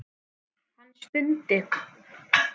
Hann stundi.